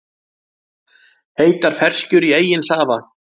Heitar ferskjur í eigin safa